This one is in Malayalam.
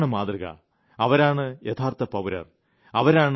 എന്നാൽ ഇതാണ് മാതൃക അവരാണ് യഥാർത്ഥ പൌരർ